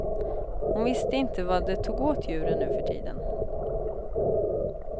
Hon visste inte vad det tog åt djuren nu för tiden.